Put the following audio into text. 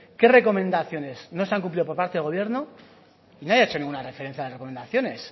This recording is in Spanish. qué recomendaciones no se han cumplido por parte del gobierno nadie ha hecho ninguna referencia de las recomendaciones